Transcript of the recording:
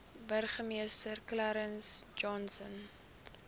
burgemeester clarence johnson